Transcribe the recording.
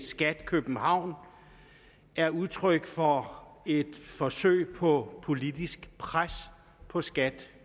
skat københavn er udtryk for et forsøg på politisk pres på skat